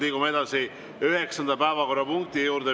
Liigume edasi üheksanda päevakorrapunkti juurde.